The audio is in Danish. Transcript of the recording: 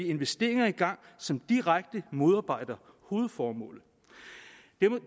investeringer i gang som direkte modarbejder hovedformålet